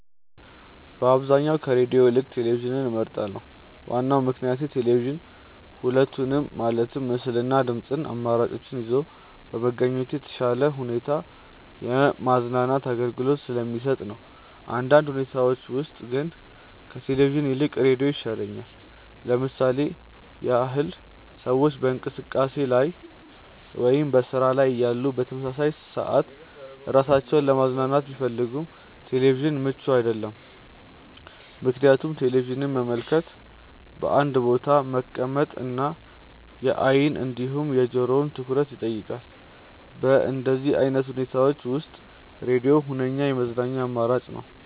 በአብዛኛው ከሬድዮ ይልቅ ቴሌቪዥንን እመርጣለሁ። ዋናው ምክንያቴ ቴሌቪዥን ሁለቱንም ማለትም ምስል እና የድምጽ አማራጮችን ይዞ በመገኘቱ በተሻለ ሁኔታ የማዝናናት አገልግሎትን ስለሚሰጥ ነው። በአንዳንድ ሁኔታዎች ውስጥ ግን ከቴሌቪዥን ይልቅ ሬዲዮ ይሻላል። ለምሳሌ ያህል ሰዎች በእንቅስቃሴ ላይ ወይም በስራ ላይ እያሉ በተመሳሳይ ሰዓት ራሳቸውን ለማዝናናት ቢፈልጉ ቴሌቪዥን ምቹ አይደለም፤ ምክንያቱም ቴሌቪዥንን መመልከት በአንድ ቦታ መቀመጥ እና የአይን እንዲሁም የጆሮውን ትኩረት ይጠይቃል። በእንደዚህ አይነት ሁኔታዎች ውስጥ ሬድዮ ሁነኛ የመዝናኛ አማራጭ ነው።